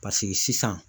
Paseke sisan